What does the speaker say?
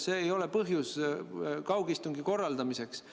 See ei ole põhjus kaugistungi korraldamiseks.